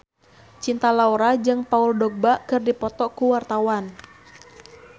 Cinta Laura jeung Paul Dogba keur dipoto ku wartawan